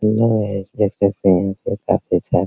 hello guys देख सकते है